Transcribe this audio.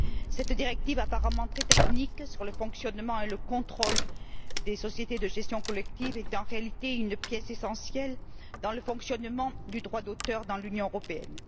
Cette directive, apparemment très technique, sur le fonctionnement et le contrôle des sociétés de gestion collective est en réalité une pièce essentielle dans le fonctionnement du droit d'auteur dans l'Union européenne.